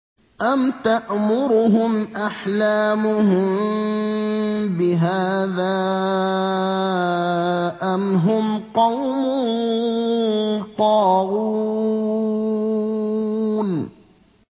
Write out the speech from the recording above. أَمْ تَأْمُرُهُمْ أَحْلَامُهُم بِهَٰذَا ۚ أَمْ هُمْ قَوْمٌ طَاغُونَ